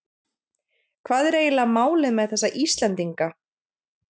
Hvað er eiginlega málið með þessa Íslendinga?